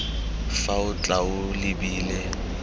fa o tla o lebile